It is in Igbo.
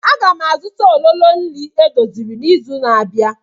Aga m azụta ololo nri edoziri n'izu na-abịa.